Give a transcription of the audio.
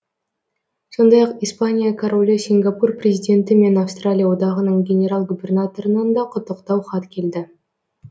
сондай ақ испания королі сингапур президенті мен австралия одағының генерал губернаторынан да құттықтау хат келді